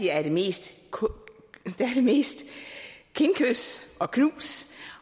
er det mest mest kindkys og knus